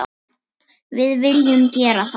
Við viljum gera það.